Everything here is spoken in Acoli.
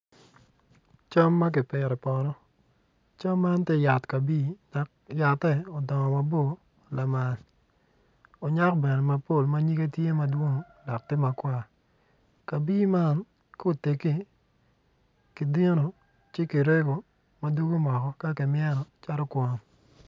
Cam ma kipito i poto, cam man tye yat kabi yatte odongo mabor lamal onyak bene mapol manyige tye mapol matye makwar kabi man ka otegi kidino ci ki rego madugo moko ka ki mweno calo kwon.